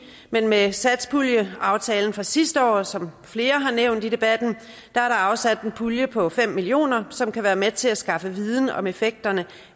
men med satspuljeaftalen fra sidste år som flere har nævnt i debatten er der afsat en pulje på fem million kr som kan være med til at skaffe viden om effekterne